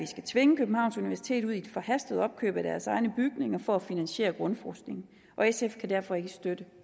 skal tvinge københavns universitet ud i et forhastet opkøb af deres egne bygninger for at finansiere grundforskning sf kan derfor ikke støtte